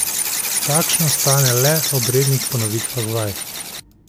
Takšno ostane le ob rednih ponovitvah vaj.